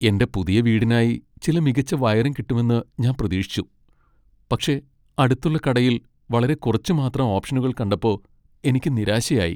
എന്റെ പുതിയ വീടിനായി ചില മികച്ച വയറിംഗ് കിട്ടുമെന്ന് ഞാൻ പ്രതീക്ഷിച്ചു, പക്ഷേ അടുത്തുള്ള കടയിൽ വളരെ കുറച്ച് മാത്രം ഓപ്ഷനുകൾ കണ്ടപ്പോ എനിക്ക് നിരാശയായി.